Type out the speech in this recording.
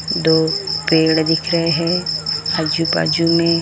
दो पेड़ दिख रहे हैं आजु बाजू में।